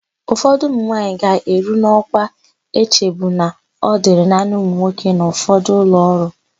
Ụfọdụ ụmụnwaanyị ga-eru n'ọkwa echebu na ọ dịrị naanị ụmụnwoke n'ụfọdụ ụlọọrụ.